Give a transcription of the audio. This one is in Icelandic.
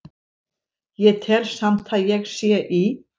Ég tel samt að ég sé í